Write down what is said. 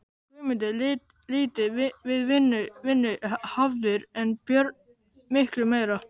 Guðmundur lítið við vinnu hafður en Björn miklu meira.